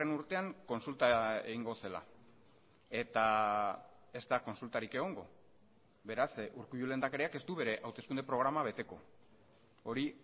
urtean kontsulta egingo zela eta ez da kontsultarik egongo beraz urkullu lehendakariak ez du bere hauteskunde programa beteko hori